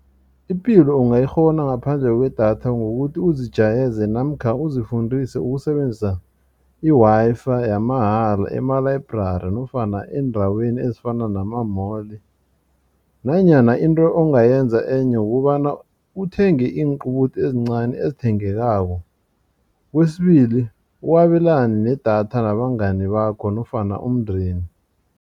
Ipilo ungayikghona ngaphandle kwedatha ngokuthi uzijayeze namkha uzifundise ukusebenzisa i-Wi-Fi yamahala ema-library nofana eendaweni ezifana nama-mall. Nanyana into ongayenza enye kukobana uthenge inqubuthi ezincani ezithengekako kwesibili uwabelane nedatha nabangani bakho nofana umndeni.